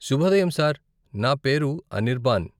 శుభోదయం సార్, నా పేరు అనిర్బాన్.